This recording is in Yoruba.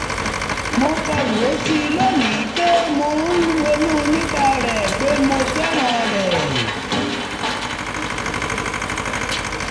mo kọ ìwé sí i lónìí um pé mo ń ronú nípa rẹ̀ pé mo fẹ́ràn rẹ̀